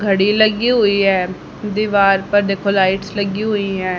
घड़ी लगी हुई है दीवार पर देखो लाइट्स लगी हुई है।